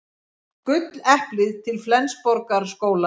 Gulleplið til Flensborgarskóla